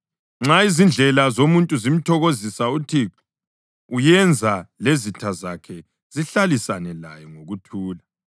Nxa izindlela zomuntu zimthokozisa uThixo, uyenza lezitha zakhe zihlalisane laye ngokuthula.